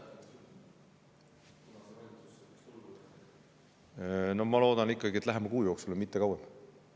Ma loodan, et see toimub lähema kuu jooksul ja kauem aega ei võta.